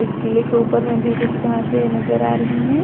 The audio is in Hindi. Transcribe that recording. इस किले के ऊपर में भी कुछ घासे नजर आ रही हैं।